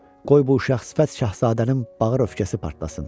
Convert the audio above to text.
Qoy bu uşaq sifət Şahzadənin bağır öfkəsi partlasın.